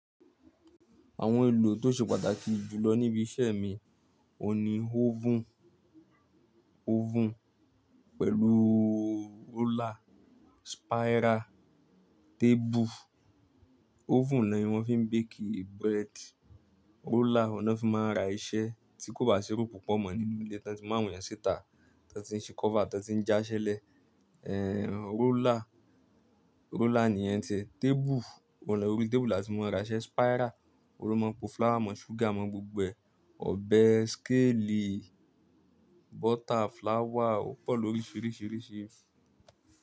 Àwọn èlò tó ṣe pàtàkì jù lọ níbi iṣẹ́ mi òhun ní oven, oven pẹ̀lú roller, spiral, tábù. Oven ni wọ́n fi ń bake bread. Roller ni wọ́n fi máa ń ra iṣẹ́ tí kò bá ṣe rú púpọ̀ mọ́ nínú ilé, tí wọ́n sì mu awon iyẹn síta tí wọ́n ti ń ṣe cover, tí wọ́n ti ń já iṣẹ́ lẹ́ẹ̀ roller, roller ni iṣẹ́. Tábù, wọ́n lẹ́ orí tábù la ti máa ń ra iṣẹ́ spiral, ni wọ́n máa ń po flour mọ́, súgà mọ́, gbogbo ẹ̀, ọbẹ̀, skeli, bọ́tà, flour, ó pọ̀ lórí sìrìsírìṣí.